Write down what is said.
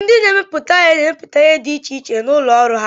Ndị na-emepụta ihe na-emepụta ihe di ichiche na ụlọ ọrụ ha